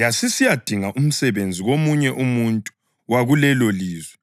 Yasisiyadinga umsebenzi komunye umuntu wakulelolizwe